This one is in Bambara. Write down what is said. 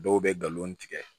Dɔw bɛ galon tigɛ